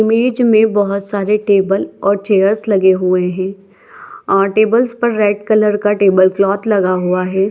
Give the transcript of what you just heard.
Image में बहोत सारे टेबल और चेयर्स लगे हुए है आ टेबल्स पर रेड कलर का टेबल क्लॉथ लगा हुआ है।